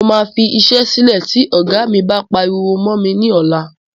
Mo máa fi iṣẹ́ sílẹ́ tí ògá mí bá pariwo mọ́ mi ní ọlá.